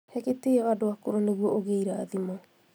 He gĩtĩo andũ akũrũ nĩguo ũgĩe irathimo